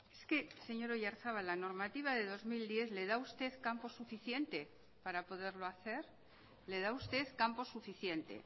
es que señor oyarzabal la normativa de dos mil diez le da a usted campo suficiente para poderlo hacer le da a usted campo suficiente